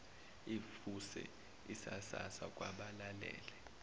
ivuse isasasa kwabalalele